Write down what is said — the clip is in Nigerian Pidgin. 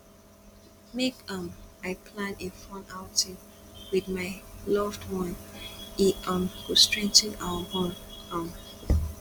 make um i plan a fun outing with my loved one e um go strengthen our bond um